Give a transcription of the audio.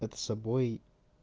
это собой